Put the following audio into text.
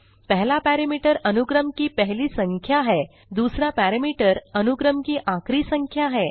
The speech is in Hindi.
पहला पैरामीटर अनुक्रम की पहली संख्या है दूसरा पैरामीटर अनुक्रम की आखिरी संख्या है